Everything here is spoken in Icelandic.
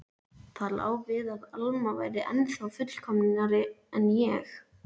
Það lá við að Alma væri ennþá fullkomnari en ég.